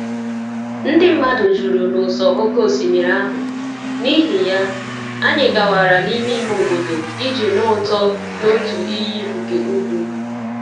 Ndị mmadụ juru n’ụsọ oké osimiri ahụ, n’ihi ya, anyị gawara n’ime ime obodo iji nụ ụtọ n’otu iyi nke ugwu.